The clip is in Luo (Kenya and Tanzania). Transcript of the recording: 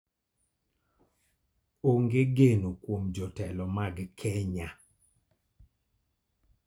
Onge geno kuom jotelo mag Kenya.